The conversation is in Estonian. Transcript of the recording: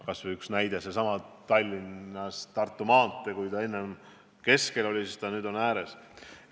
Kas või Tallinnas Tartu maanteel: enne olid rööpad keskel, nüüd on rohkem tee ääres.